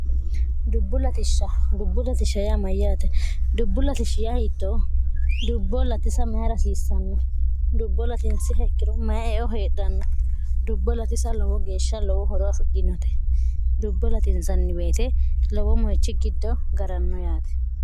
dubbu lisdubbu latishmyyaate dubbu latish hi0o dubbo latisa mayi rasiissanno dubbo latinsi hekkiro mayeo heedhanno dubbo latisa lowo geeshsha lowo horo afidhinote dubbo laiinsanni weite lowo moyichi giddo garanno yaate